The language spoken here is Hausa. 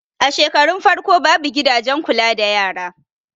A shekarun farko babu gidajen kula da yara